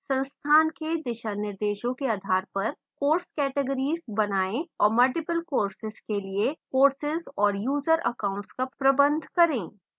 संस्थान के दिशानिर्देशों के आधार पर course categories बनाएं और multiple courses के लिए courses और user accounts का प्रबंध करें